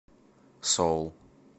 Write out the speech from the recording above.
соул